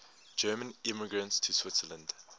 german immigrants to switzerland